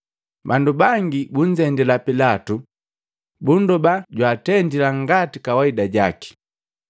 Bandu bangi bunzendila Pilato, bundoba jwaatendila ngati kawaida jaki.